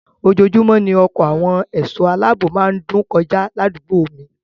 Ojoojúmọ́ ni ọkọ àwọn ẹ̀sọ́ aláààbò má ń dún kọjá ládùúgbò mi